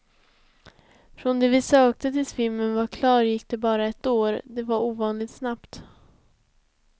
Från det vi sökte tills filmen var klar gick det bara ett år, det var ovanligt snabbt.